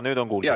Nüüd on kuulda.